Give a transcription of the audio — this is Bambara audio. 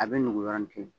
A bɛ nugu yɔrɔnin kelen